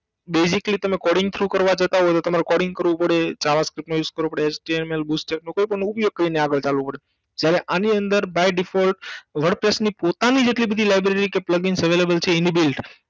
Basically તમે Coding through કરવા જતાં હોય તો તમારે coding કરવું પડે java script નો use કરવો પડે HTML Booster નો કોઈ પણ નો ઉપયોગ કરીને આગળ ચાલવું પડે જ્યારે આની અંદર By default WordPress ની પોતાનીજ એટલી બધી library છે કે Plugins available છે inbuilt